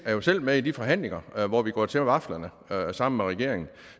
er jo selv med i de forhandlinger hvor vi går til vaflerne sammen med regeringen